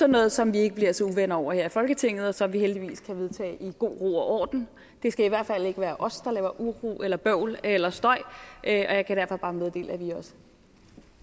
noget som vi ikke bliver så uvenner over her i folketinget og som vi heldigvis kan vedtage i god ro og orden det skal i hvert fald ikke være os der laver uro eller bøvl eller støj og jeg kan derfor bare meddele at vi også